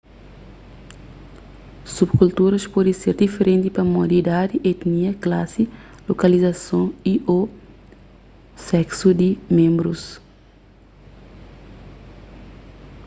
subkulturas pode ser diferenti pamodi idadi etinia klasi lokalizason y/ô seksu di ménbrus